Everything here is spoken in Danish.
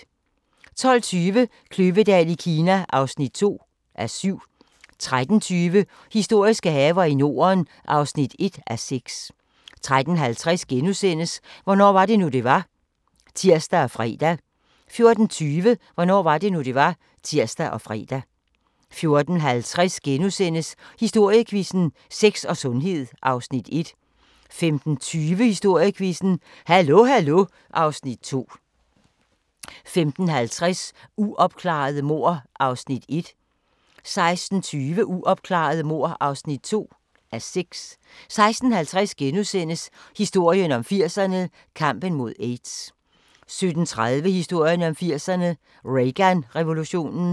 12:20: Kløvedal i Kina (2:7) 13:20: Historiske haver i Norden (1:6) 13:50: Hvornår var det nu, det var? *(tir og fre) 14:20: Hvornår var det nu, det var? (tir og fre) 14:50: Historiequizzen: Sex og sundhed (Afs. 1)* 15:20: Historiequizzen: Hallo Hallo (Afs. 2) 15:50: Uopklarede mord (1:6) 16:20: Uopklarede mord (2:6) 16:50: Historien om 80'erne: Kampen mod AIDS * 17:30: Historien om 80'erne: Reagan-revolutionen